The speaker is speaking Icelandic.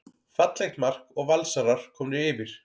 Fallegt mark og Valsarar komnir yfir.